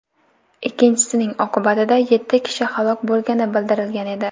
Ikkinchisining oqibatida yetti kishi halok bo‘lgani bildirilgan edi.